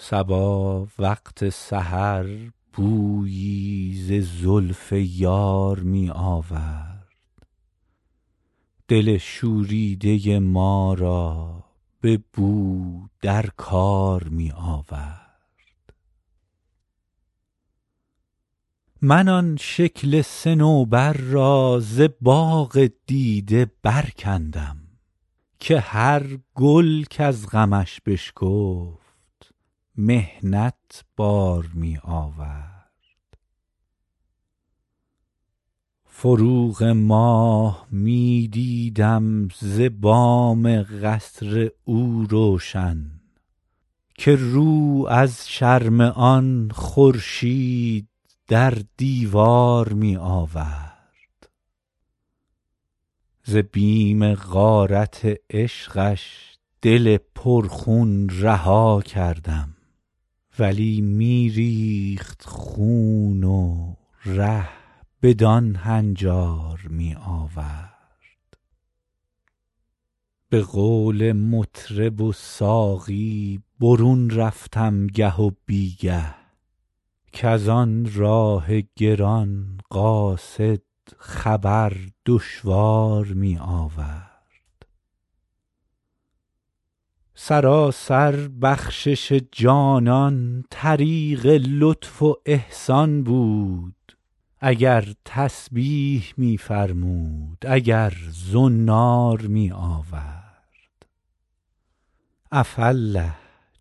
صبا وقت سحر بویی ز زلف یار می آورد دل شوریده ما را به نو در کار می آورد من آن شکل صنوبر را ز باغ دیده برکندم که هر گل کز غمش بشکفت محنت بار می آورد فروغ ماه می دیدم ز بام قصر او روشن که رو از شرم آن خورشید در دیوار می آورد ز بیم غارت عشقش دل پرخون رها کردم ولی می ریخت خون و ره بدان هنجار می آورد به قول مطرب و ساقی برون رفتم گه و بی گه کز آن راه گران قاصد خبر دشوار می آورد سراسر بخشش جانان طریق لطف و احسان بود اگر تسبیح می فرمود اگر زنار می آورد عفاالله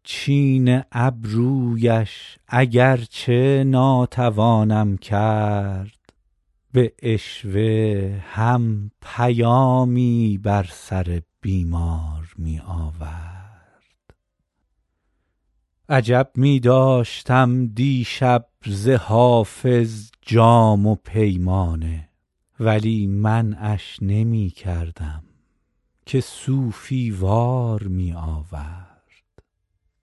چین ابرویش اگر چه ناتوانم کرد به عشوه هم پیامی بر سر بیمار می آورد عجب می داشتم دیشب ز حافظ جام و پیمانه ولی منعش نمی کردم که صوفی وار می آورد